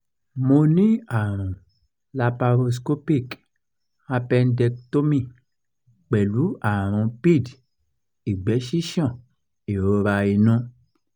mo ní àrùn laparoscopic appendectomy pẹ̀lú àrùn pid ìgbẹ́ ṣíṣàn ìrora inú